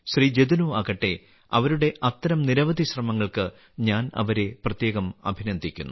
ജതിനോ ആകട്ടെ അവരുടെ അത്തരം നിരവധി ശ്രമങ്ങൾക്ക് ഞാൻ അവരെ പ്രത്യേകം അഭിനന്ദിക്കുന്നു